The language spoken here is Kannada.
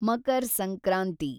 ಮಕರ್ ಸಂಕ್ರಾಂತಿ